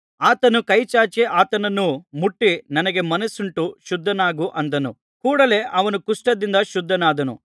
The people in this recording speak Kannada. ಆತನು ಕೈಚಾಚಿ ಆತನನ್ನು ಮುಟ್ಟಿ ನನಗೆ ಮನಸ್ಸುಂಟು ಶುದ್ಧನಾಗು ಅಂದನು ಕೂಡಲೆ ಅವನು ಕುಷ್ಠದಿಂದ ಶುದ್ಧನಾದನು